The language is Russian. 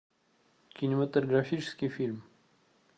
кинематографический фильм